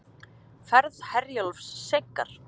Ferð Herjólfs seinkar